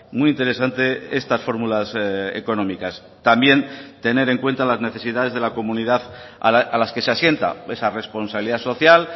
muy interesante estas fórmulas económicas también tener en cuenta las necesidades de la comunidad a las que se asienta esa responsabilidad social